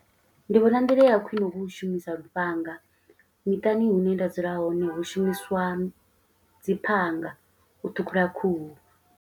Ndi vhona nḓila ya khwiṋe hu u shumisa lufhanga, miṱani hune nda dzula hone hu shumiswa dzi phanga u ṱhukhula khuhu.